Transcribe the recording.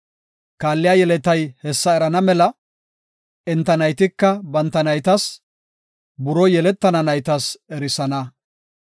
Kaalliya yeletay hessa erana mela, enta naytika banta naytas buroo yeletana naytas erisanaasa.